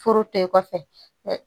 Furu tɛ kɔfɛ